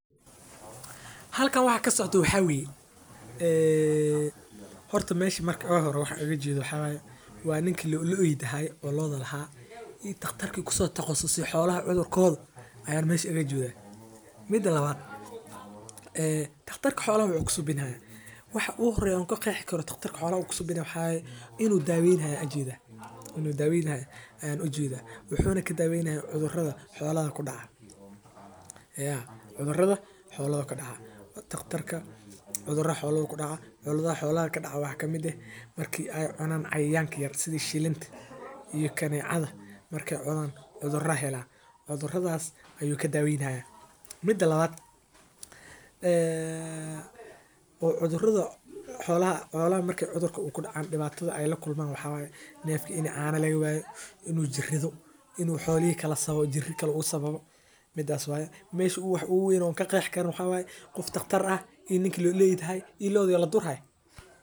Halkan waxaa kasocdaa waxaa waye horta meesha waxaan ooga jeedo maxaa waye ninka xolaha iska lahaa iyo daqtarka daweyn rabe inaan xafada barto wax yaabaha xiisaha leh oo aad ku aragto halkan waxaa iiga muuqda sawiir wuxuu mujinaaya koox dad ah oo lagu soo bandige xog aruurin cilmiya casri ah.